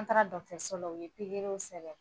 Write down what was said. An taara dɔgɔtɔrɔso la u ye pikiri min sɛbɛn